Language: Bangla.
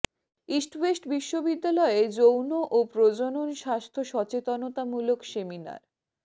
ইস্ট ওয়েস্ট বিশ্ববিদ্যালয়ে যৌন ও প্রজনন স্বাস্থ্য সচেতনতামূলক সেমিনার